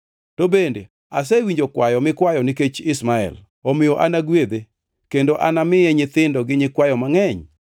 To bende asewinjo kwayo mikwayo nikech Ishmael, omiyo anagwedhe, kendo anamiye nyithindo gi nyikwayo mangʼeny.